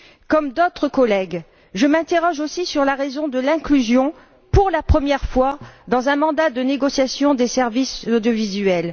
Comme d'autres collègues, je m'interroge aussi sur la raison de l'inclusion, pour la première fois dans un mandat de négociation, des services audiovisuels.